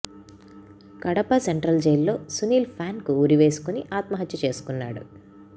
Kadapa central జైల్లో సునీల్ ఫ్యాన్కు ఉరి వేసుకొని ఆత్మహత్య చేసుకున్నాడు